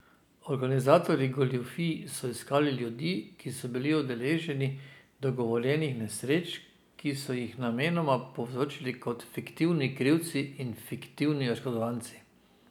Organizatorji goljufij so iskali ljudi, ki so bili udeleženci dogovorjenih nesreč, ki so jih namenoma povzročili kot fiktivni krivci in fiktivni oškodovanci.